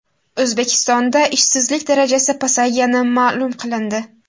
O‘zbekistonda ishsizlik darajasi pasaygani ma’lum qilindi.